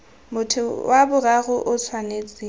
motho wa boraro o tshwanetse